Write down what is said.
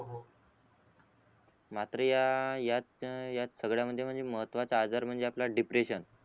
मात्र या याच याच सगळ्यामध्ये म्हणजे महत्वाचा आजार म्हणजे आपला डिप्रेशन